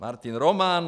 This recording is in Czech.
Martin Roman?